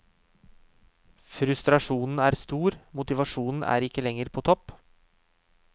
Frustrasjonen er stor, motivasjonen er ikke lenger på topp.